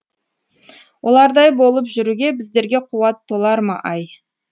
олардай болып жүруге біздерге қуат толар ма ай